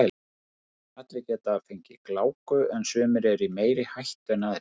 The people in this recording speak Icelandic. Allir geta fengið gláku en sumir eru í meiri hættu en aðrir.